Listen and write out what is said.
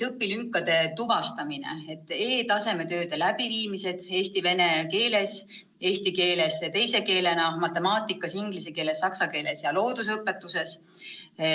Kõigepealt õpilünkade tuvastamine: e-tasemetööde läbiviimine eesti ja vene keeles, eesti keeles teise keelena, matemaatikas, inglise keeles, saksa keeles ja loodusõpetuses.